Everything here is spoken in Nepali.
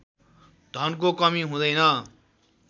धनको कमी हुँदैन